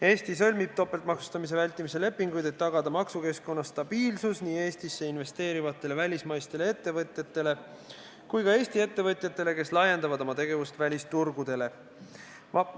Eesti sõlmib topeltmaksustamise vältimise lepinguid selleks, et tagada maksukeskkonna stabiilsus nii Eestisse investeerivatele välismaistele ettevõtjatele kui ka Eesti ettevõtjatele, kes laiendavad oma tegevust välisturgudele.